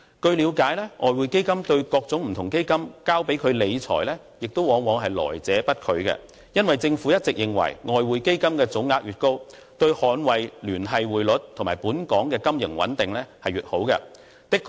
據了解，外匯基金對各種基金交付理財往往來者不拒，因為政府一直認為外匯基金的總額越高，對捍衞聯繫匯率及本港金融穩定越有益處。